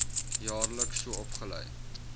jaarliks so opgelei